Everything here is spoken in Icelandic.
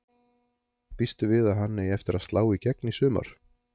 Býstu við að hann eigi eftir að slá í gegn í sumar?